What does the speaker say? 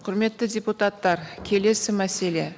құрметті депутаттар келесі мәселе